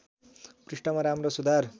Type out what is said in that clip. पृष्ठमा राम्रो सुधार